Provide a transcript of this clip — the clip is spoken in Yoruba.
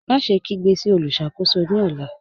Máṣẹ̀ kígbe sí olùṣakò̩só̩ ní ọ̀là.